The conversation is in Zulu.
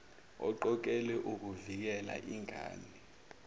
eqokelwe ukuvikela ingane